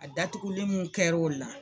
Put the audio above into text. A datugulen mun kɛr'o la